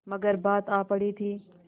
मगर बात आ पड़ी थी